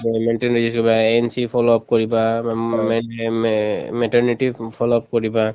governmental NC follow up কৰিবা follow up কৰিবা